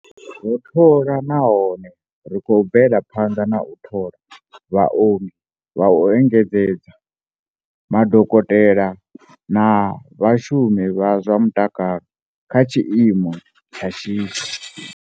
Ro thola nahone ri khou bvela phanḓa na u thola vhaongi vha u engedzedza, madokotela na vhashumi vha zwa mutakalo kha tshiimo tsha shishi.